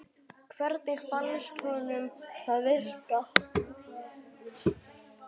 Hvernig fannst honum það virka?